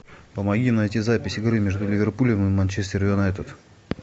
помоги найти запись игры между ливерпулем и манчестер юнайтед